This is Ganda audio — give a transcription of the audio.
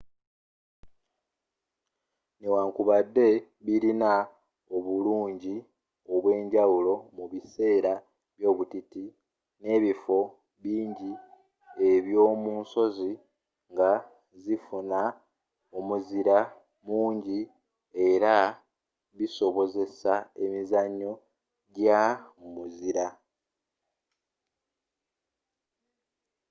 newankubadde bilina obulunji obwenjawulo mu biseera by'obutiti n’ebifo binji ebyo munsozi nga zifuna omuzira munji era nga bisobozesa emizzanyo gya mu muzira